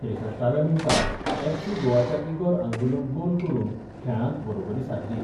त्रेंसष्ठव्या मिणटाक एफसी गोवाच्या इगोर आंगुलोन गोल करून खेळांत बरोबरी सादली.